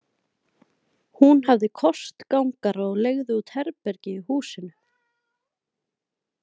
Hún hafði kostgangara og leigði út herbergi í húsinu.